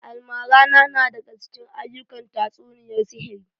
Almarana na daga cikin aa'ukan tatsuniyar sihiri